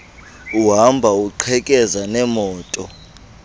uhamba uqhekeza neemoto